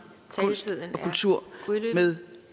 kultur med